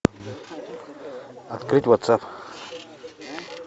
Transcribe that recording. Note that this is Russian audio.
открыть ватсап